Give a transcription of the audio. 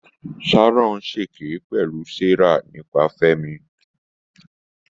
Sharon ṣèké pẹ̀lú Sarah nípa Fẹ́mi.